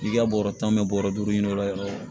N'i ka bɔrɔ tan bɛ bɔrɔ duuru ɲini o la